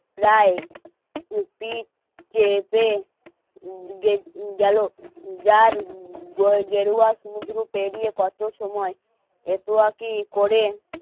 UP চেপে যে গেল যার গেরুয়া সমুদ্র পেরিয়ে কত সময় এতুয়া কি করে